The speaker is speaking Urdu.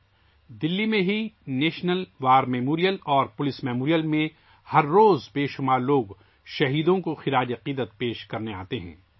ہر روز بہت سے لوگ دلّی میں ہی نیشنل وار میموریل اور پولیس میموریل میں شہیدوں کو خراج عقیدت پیش کرنے آتے ہیں